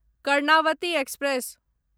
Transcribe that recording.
Karnavati express